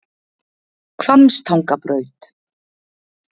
Hvammstangabraut